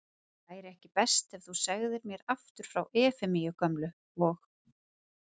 Væri ekki best að þú segðir mér aftur frá Efemíu gömlu. og